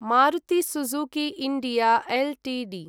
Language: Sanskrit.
Maruti Suzuki India Ltd